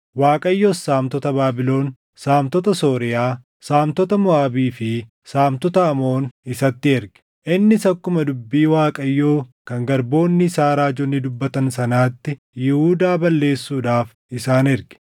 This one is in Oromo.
Waaqayyos saamtota Baabilon, saamtota Sooriyaa, saamtota Moʼaabii fi saamtota Amoon isatti erge. Innis akkuma dubbii Waaqayyoo kan garboonni isaa raajonni dubbatan sanaatti Yihuudaa balleessuudhaaf isaan erge.